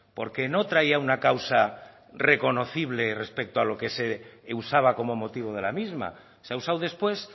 porque no traía una causa reconocible respecto lo que se usaba como motivo de la misma se ha usado después